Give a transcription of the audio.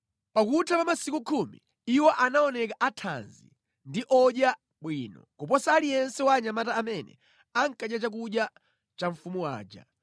Pakutha pa masiku khumi iwo anaoneka athanzi ndi odya bwino kuposa aliyense wa anyamata amene ankadya chakudya cha mfumu aja.